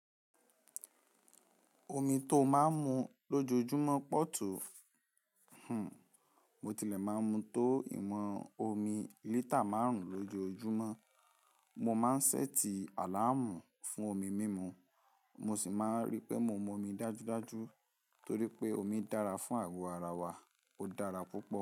Omi tó máa ń mu lójoójúmọ́ pọ̀ tó, hmmm, mo tilẹ̀ máa ń mu tó ìwọ̀n omi lítà márùn-ún lójoójúmọ́. Mo máa ń ṣẹ́ẹ̀tì àláàmù fún omi mímu, mo sì máa ń ríi pé mo mu omi dájúdájú torí pé omi dára fún àgọ́ ara wa, ó dára púpọ̀